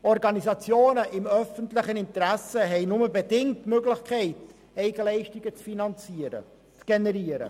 Organisationen im öffentlichen Interesse haben nur bedingt die Möglichkeit, Eigenleistungen zu generieren.